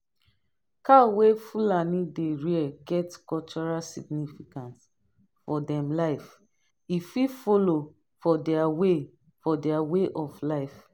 cow wey fulani dey rear get cultural significance for them life e fit follow for their way for their way of life